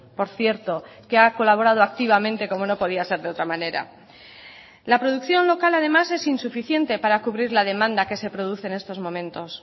por cierto que ha colaborado activamente como no podía ser de otra manera la producción local además es insuficiente para cubrir la demanda que se produce en estos momentos